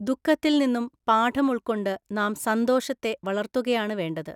ദുഃഖത്തിൽ നിന്നും പാഠം ഉൾക്കൊണ്ട് നാം സന്തോഷത്തെ വളര്‍ത്തുകയാണ് വേണ്ടത്.